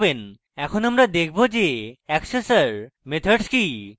এরপর আমরা দেখব accessor methods কি